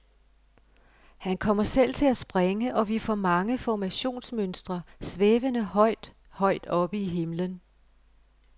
Han kommer selv til at springe, og vi får mange formationsmønstre, svævende højt, højt oppe i himlen.